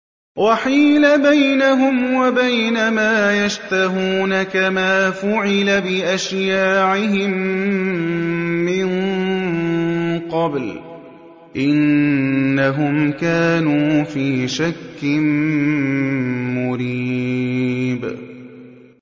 وَحِيلَ بَيْنَهُمْ وَبَيْنَ مَا يَشْتَهُونَ كَمَا فُعِلَ بِأَشْيَاعِهِم مِّن قَبْلُ ۚ إِنَّهُمْ كَانُوا فِي شَكٍّ مُّرِيبٍ